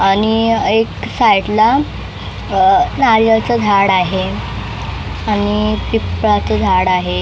आणि एक साईडला नारीयलचं झाड आहे आणि पिपळाच झाड आहे.